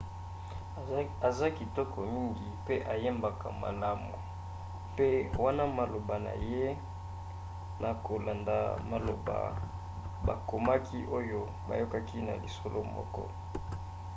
aza kitoko mngi mpe ayembaka malamu mpe wana maloba na ye na kolanda maloba bakomaki oyo bayokaki na lisolo moko